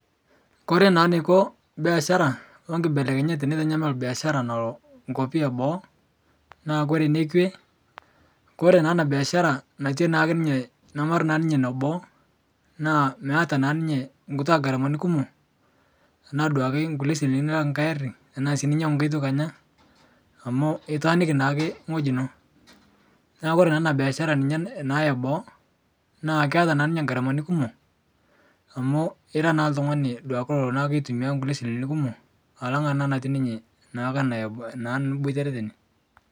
Kore naa neiko beashara okibelekenyat tenetanyamal beashara nalo nkopi eboo, naa kore nekwe, kore naa ana beashara natii naake ninye nemera naa ninye neboo, naa meata naa ninye kuntwaa ngamarani kumo ana duake nkule silinkini naa nkae ari tanaa sii ninyang'u nkae toki anya amu itaaniki naake ng'oji ino, naa kore naa ana beashara ninye naa eboo, naa keata naa ninye ngaramani kumo, amuu ira naa ltung'ani duake lolo naa keitumia nkule silinkini kumo alang' ana natii ninye naa ake ana ebo naa niboitere tene.